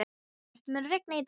Herbjört, mun rigna í dag?